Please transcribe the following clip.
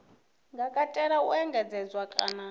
nga katela u engedzedzwa kana